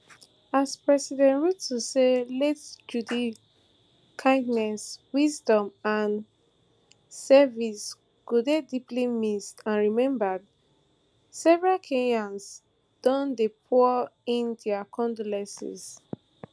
as president ruto say late judy kindness wisdom and service go dey deeply missed and remembered several kenyans don dey pour in dia condolences